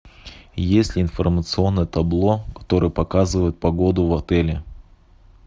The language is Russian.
есть ли информационное табло которое показывает погоду в отеле